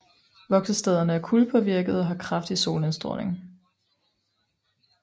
Voksestederne er kuldepåvirkede og har kraftig solindstråling